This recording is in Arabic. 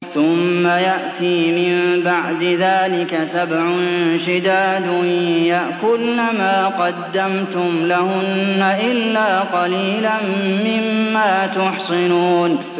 ثُمَّ يَأْتِي مِن بَعْدِ ذَٰلِكَ سَبْعٌ شِدَادٌ يَأْكُلْنَ مَا قَدَّمْتُمْ لَهُنَّ إِلَّا قَلِيلًا مِّمَّا تُحْصِنُونَ